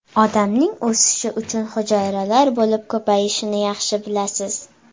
Odamning o‘sishi uchun hujayralar bo‘lib ko‘payishini yaxshi bilasiz.